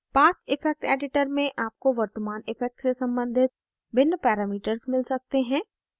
path effect editor में आपको वर्तमान effect से सम्बंधित भिन्न parameters मिल सकते हैं